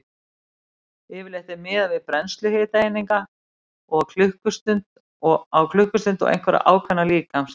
Yfirleitt er miðað við brennslu hitaeininga á klukkustund og einhverja ákveðna líkamsþyngd.